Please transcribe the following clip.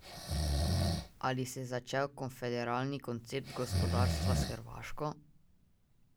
Ali se je začel konfederalni koncept gospodarstva s Hrvaško?